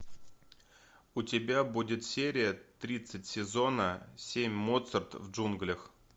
у тебя будет серия тридцать сезона семь моцарт в джунглях